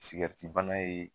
Sikɛritibana